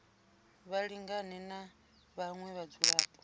vha lingane na vhaṅwe vhadzulapo